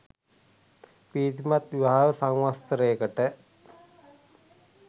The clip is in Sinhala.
ප්‍රීතිමත් විවාහ සංවත්සරයකට